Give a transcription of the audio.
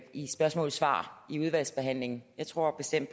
i spørgsmål og svar i udvalgsbehandlingen jeg tror bestemt